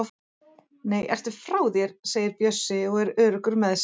Nei, ertu frá þér! segir Bjössi og er öruggur með sig.